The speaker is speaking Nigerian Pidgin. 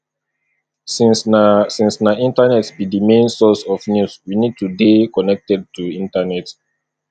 since na since na internet be di main source of news we need to dey connected to internet